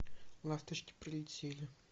ласточки прилетели